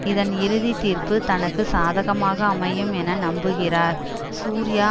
இதன் இறுதி தீர்ப்பு தனக்கு சாதகமாக அமையும் என நம்புகிறார் சூர்யா